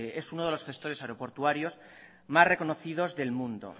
es uno de los gestores aeroportuarios más reconocidos del mundo